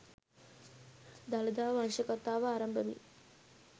දළදා වංශ කථාව අරඹමින්